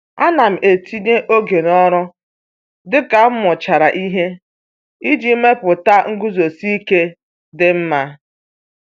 Ana m etinye oge n'ọrụ dị ka m mụchara ihe iji mepụta nguzosi ike dị mma.